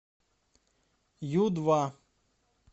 ю два